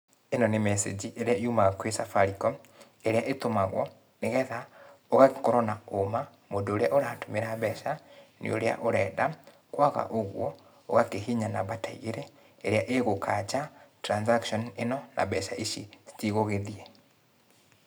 ĩno nĩ message ĩrĩa yumaga kwĩ Safaricom ĩrĩa ĩtũmagwo nĩgetha ũgakorwo na ũũma mũndũ ũrĩa ũratũmira mbeca nĩ ũrĩa ũrenda, kwaga ũguo, ũgakĩhihinya namba ta igĩrĩ ĩrĩa ĩgũkanja transaction ĩno na mbeca ici itigũgĩthiĩ.